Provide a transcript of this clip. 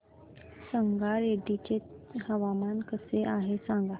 संगारेड्डी चे हवामान कसे आहे सांगा